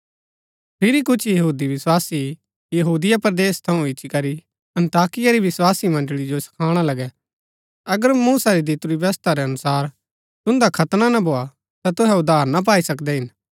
फिरी कुछ यहूदी विस्वासी यहूदिया परदेस थऊँ इच्ची करी अन्ताकिया री विस्वासी मण्ड़ळी जो सखाणा लगै अगर मूसा री दितुरी व्यवस्था रै अनुसार तुन्दा खतना ना भोआ ता तुहै उद्धार ना पाई सकदै हिन